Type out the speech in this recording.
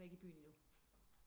I byen endnu